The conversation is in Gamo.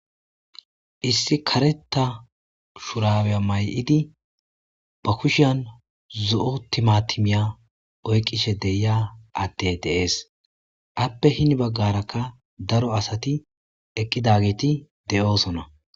Issi kareta shuraweya may'idi ba kushiyan zo'o timatimiya oyqishe deya atte deees appe hini baggarakka daro asati eqqidageeti de'oosona.